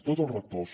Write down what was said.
tots els rectors